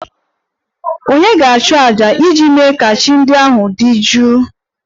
Ònye ga-achụ àjà iji mee ka chi ndị ahụ dị jụụ?